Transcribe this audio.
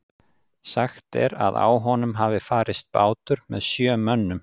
Sagt er að á honum hafi farist bátur með sjö mönnum.